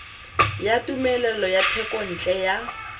ya tumelelo ya thekontle ya